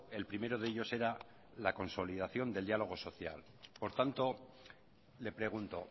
el primero de ellos era la consolidación del diálogo social por tanto le pregunto